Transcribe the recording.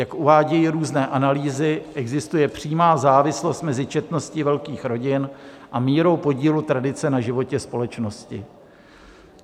Jak uvádějí různé analýzy, existuje přímá závislost mezi četností velkých rodin a mírou podílu tradice na životě společnosti.